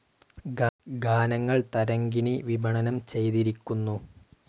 ഗാനങ്ങൾ തരംഗിണി വിപണനം ചെയ്തിരിക്കുന്നു.